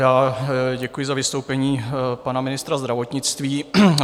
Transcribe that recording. Já děkuji za vystoupení pana ministra zdravotnictví.